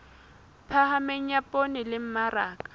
phahameng ya poone le mmaraka